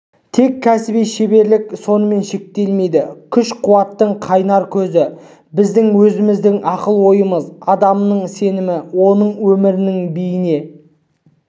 тек кәсіби шеберлік сонымен шектелмейді күш-қуаттың қайнар көзі біздің өзіміздің ақыл-ойымыз адамның сенімі оның өмірінің бейне